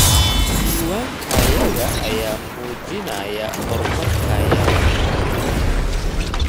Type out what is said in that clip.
Diiwaankayaga ayaa muujinaya horumarkayaga.